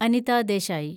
Anitha Desai